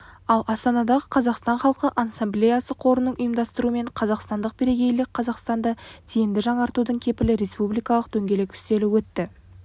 ал астанадағы қазақстан халқы ассамблеясы қорының ұйымдастыруымен қазақстандық бірегейлікқазақстанды тиімді жаңғыртудың кепілі республикалық дөңгелек үстелі өтті